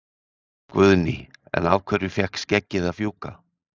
Guðný: En af hverju fékk skeggið að fjúka?